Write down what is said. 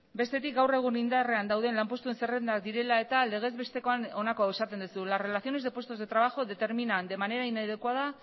bestetik gaur egun indarrean dauden lanpostuen zerrendak direla eta legez bestekoan honako hau esaten duzu las relaciones de puestos de trabajo determinan de manera inadecuada